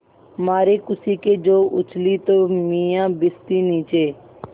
मारे खुशी के जो उछली तो मियाँ भिश्ती नीचे